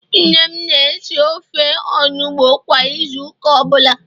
nne m na-esi ofe onugbo kwa Ịzụ ụka ọbụla